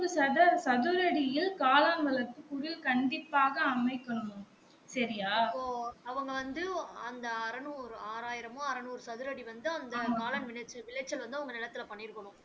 சதுர சதுர அடியில் காளான் வளர்ப்பு குடில் கண்டிப்பாக அமைக்கன்னும் செறிய